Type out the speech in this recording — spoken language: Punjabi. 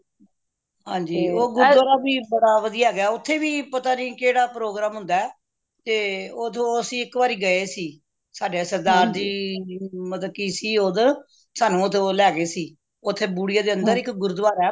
ਹਨਜੀ ਉਹ ਗੁਰੂਦੁਆਰਾ ਵੀ ਬੜਾ ਵਧੀਆ ਹੈਗਾ ਓਥੇ ਵੀ ਪਤਾ ਨਹੀਂ ਕੇਹੜਾ ਪ program ਹੁੰਦਾ ਤੇ ਓਦੋ ਅੱਸੀ ਇੱਕ ਵਾਰੀ ਗਏ ਸੀ ਸਾਡੇ ਸਰਦਾਰ ਜੀ ਮਤਲਬ ਸੀ ਓਦੋ ਸਾਨੂ ਓਦੋ ਲੈ ਗਏ ਸੀ ਓਥੇ ਬੂੜੀਏ ਦੇ ਅੰਦਰ ਗੁਰੂਦੁਆਰਾ ਹੈ